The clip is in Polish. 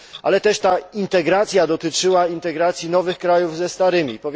Ale też ta integracja dotyczyła integracji nowych krajów ze starymi.